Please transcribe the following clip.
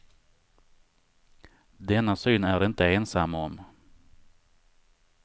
Denna syn är de inte ensamma om.